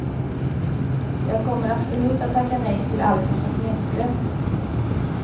Jag kommer absolut att tacka nej till allt som känns meningslöst.